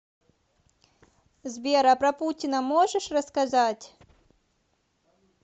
сбер а про путина можешь рассказать